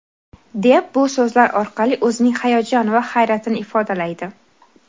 deb bu so‘zlar orqali o‘zining hayajon va hayratini ifodalaydi.